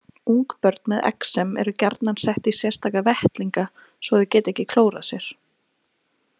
Ungbörn með exem eru gjarnan sett í sérstaka vettlinga svo þau geti ekki klórað sér.